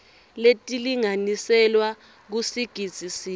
letilinganiselwa kusigidzi sinye